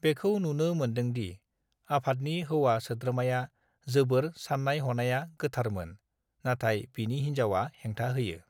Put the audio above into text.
बेखौ नुनो मोन्दोंदि आफादनिहौवा सोद्रोमाया जोबोर साननाय हनाया गोथारमोन नाथाय बिनि हिन्जावा हेंथा होयो